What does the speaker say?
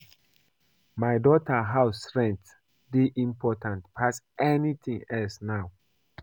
My daughter house rent dey important pass anything else now